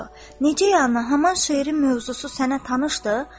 Necə, İlyas, haçan şeirin mövzusu sənə tanışdır?